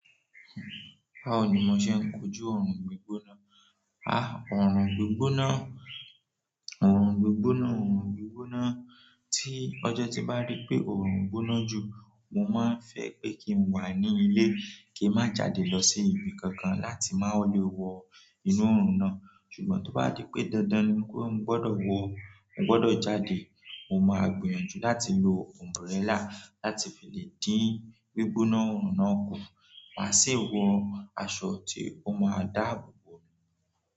Báwo ni mo ṣe ń kojú ọ̀rùn gbígbóná? Orun gbigbona orun gbigbona orun gbígbóná. Ọjọ́ tí mo bá rí pé orun gbóná jù, mo maan fẹ́ pé kin wà nínú ilé. Kin má jáde lọ sí ibi kan kan, láti má lè wo inú orun náà. Ṣùgbọ́n tí ó bá di pé dandan ni pé mo gbọ́dọ̀ wọ, mo gbọ́dọ̀ jáde, mo máa gbìyànjú láti lò umbrella láti fi lè dín gbígbóná ọ̀rùn náà kù. Màá sì wọ aṣọ tí ó máa dáàbò bò mi.